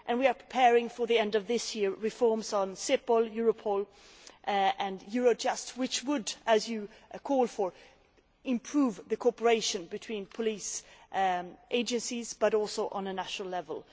We are also preparing, for the end of this year, reforms of Cepol, Europol and Eurojust, which would as you call for improve the cooperation between police agencies, but also on a national level.